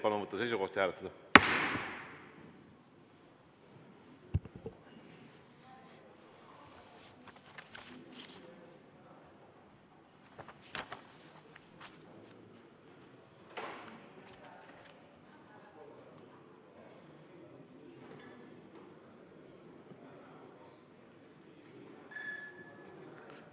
Palun võtta seisukoht ja hääletada!